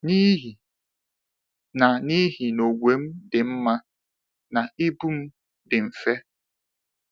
“N’ihi na “N’ihi na ogwe m dị mma, na ibu m dị mfe.